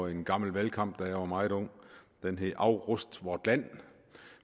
en gammel valgkamp dengang jeg var meget ung den hed afrust vort land